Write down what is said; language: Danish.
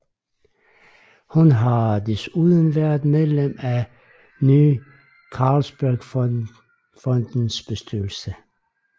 Hun har desuden været medlem af Ny Carlsbergfondets bestyrelse